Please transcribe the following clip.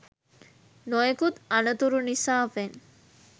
නොයෙකුත් අනතුරු නිසාවෙන්